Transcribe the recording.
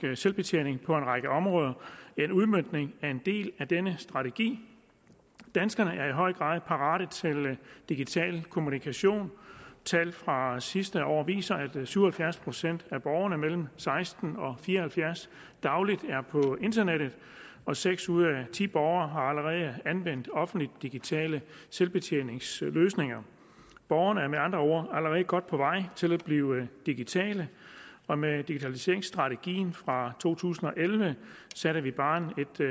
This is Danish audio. selvbetjening på en række områder er en udmøntning af en del af denne strategi danskerne er i høj grad parate til digital kommunikation tal fra sidste år viser at syv og halvfjerds procent af borgere mellem seksten og fire og halvfjerds år dagligt er på internettet og seks ud af ti borgere har allerede anvendt offentlige digitale selvbetjeningsløsninger borgerne er med andre ord allerede godt på vej til at blive digitale og med digitaliseringsstrategien fra to tusind og elleve sætter vi barren